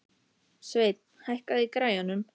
Sveinn, hækkaðu í græjunum.